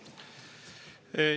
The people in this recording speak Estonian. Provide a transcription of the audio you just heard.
Aitäh!